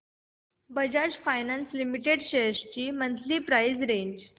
Bajaj finance limited shares ची monthly price range